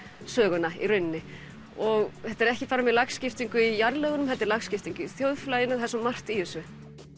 söguna í rauninni og þetta er ekki bara með lagskiptingu í jarðlögunum heldur lagskiptingu í þjóðfélaginu það er svo margt í þessu